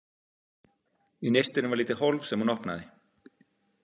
Í nistinu var lítið hólf sem hún opnaði.